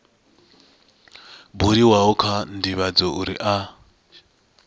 buliwaho kha ndivhadzo uri a